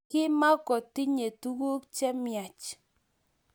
Komkotinye tuguk chemiach